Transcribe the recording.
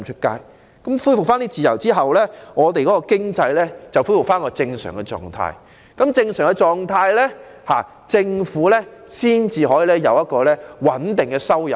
在恢復這些自由後，經濟便能恢復正常狀態，而在這狀態下，政府才會有穩定的收入。